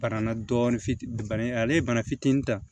Bananna dɔɔnin fitini ale ye bana fitinin ta